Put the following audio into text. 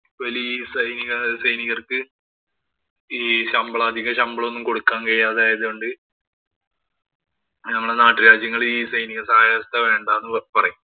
വലിയ സൈനിക സൈനികര്‍ക്ക് ഈ ശമ്പളവും, അധിക ശമ്പളം ഒന്നും കൊടുക്കാന്‍ കഴിയാതെ ആയതുകൊണ്ട് ഞമ്മടെ നാട്ടുരാജ്യങ്ങള്‍ ഈ സൈനിക വ്യവസ്ഥ വേണ്ടാന്നു പറയും.